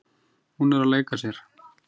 Hún er að leika sér.